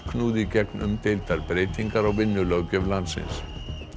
knúði í gegn umdeildar breytingar á vinnulöggjöf landsins